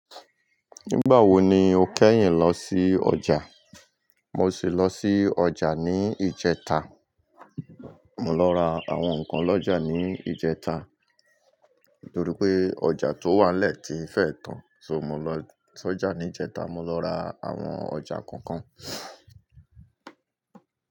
Nígbà wo ni o kẹ́yìn lọ sí ọjà? Mo sì lọ sí ọjà ní ìjẹta. Mo lọ ra àwọn nǹkan lọ́jà ní ìjẹta titorí pé ọjà tó wà nle tí fẹ́e tàn so mo lọ s'ọjà ní ìjẹta, mo lọ ra àwọn ọjà kọ̀ọ̀kan.